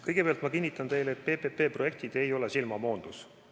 Kõigepealt ma kinnitan teile, et PPP-projektid ei ole silmamoondus.